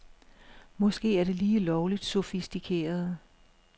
Måske er det lige lovligt sofistikeret.